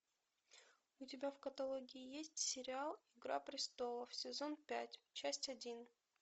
у тебя в каталоге есть сериал игра престолов сезон пять часть один